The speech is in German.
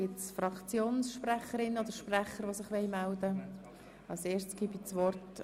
Wünschen Fraktionssprecherinnen oder -sprecher das Wort?